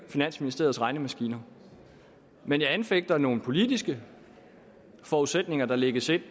finansministeriets regnemaskiner men jeg anfægter nogle politiske forudsætninger der lægges ind